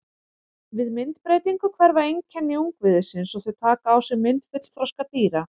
Við myndbreytingu hverfa einkenni ungviðisins og þau taka á sig mynd fullþroska dýra.